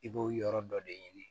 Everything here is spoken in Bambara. I b'o yɔrɔ dɔ de ɲini